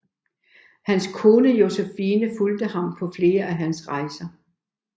Hans kone Josephine fulgte ham på flere af hans rejser